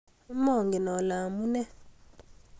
Mongen ale amune